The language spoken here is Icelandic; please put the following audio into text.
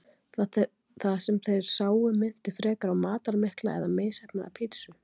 Það sem þeir sáu minnti frekar á matarmikla eða misheppnaða pítsu.